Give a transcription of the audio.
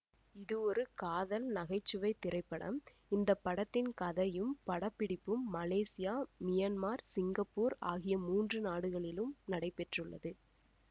இது ஒரு காதல் நகை சுவை திரைப்படம் இந்த படத்தின் கதையும் படப்பிடிப்பும் மலேசியா மியன்மார் சிங்கப்பூர் ஆகிய மூன்று நாடுகளிலும் நடைபெற்றுள்ளது